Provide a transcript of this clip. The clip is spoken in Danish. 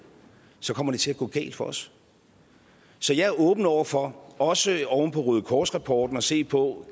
kommer det til at gå galt for os så jeg er åben over for også oven på røde kors rapporten at se på